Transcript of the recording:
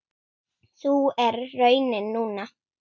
Sú er raunin núna.